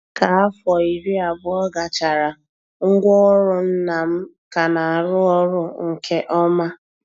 Ka afo iri abụọ gachara, ngwaọrụ nna m ka na-arụ ọrụ nke ọma.